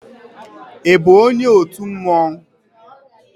Ị bụ onye otu mmanwu?